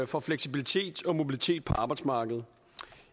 for fleksibilitet og mobilitet på arbejdsmarkedet